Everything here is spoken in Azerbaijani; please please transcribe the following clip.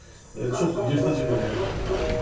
Bu çox yırtıcı bir hərəkətdir.